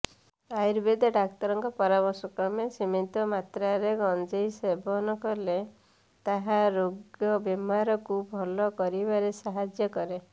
ଆୟୁର୍ବେଦ ଡାକ୍ତରଙ୍କ ପରାମର୍ଶକ୍ରମେ ସୀମିତ ମାତ୍ରାରେ ଗଞ୍ଜେଇ ସେବନ କଲେ ତାହା ରୋଗବେମାରକୁ ଭଲ କରିବାରେ ସାହାଯ୍ୟ କରେ